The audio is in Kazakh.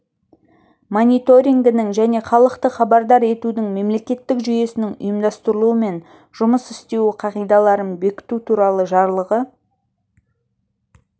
мониторингінің және халықты хабардар етудің мемлекеттік жүйесінің ұйымдастырылуы мен жұмыс істеуі қағидаларын бекіту туралы жарлығы